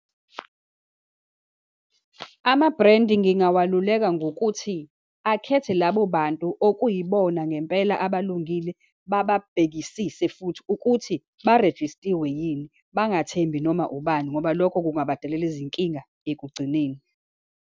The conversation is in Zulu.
Ama-brand ngingawaluleka ngokuthi, akhethe labo bantu okuyibona ngempela abalungile, bababhekisise futhi ukuthi barejistiwe yini, bangathembi noma ubani, ngoba lokho kungabadalela izinkinga ekugcineni.